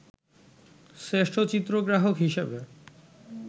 শ্রেষ্ঠ চিত্রগ্রাহক হিসেবে